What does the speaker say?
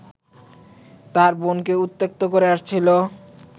তার বোনকে উত্ত্যক্ত করে আসছিল